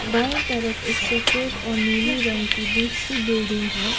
बाएं तरफ एक सफेद और नीली रंग की दूसरी बिल्डिंग है।